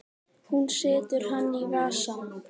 Hún setur hann í vasann.